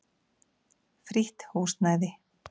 Frítt húsnæði.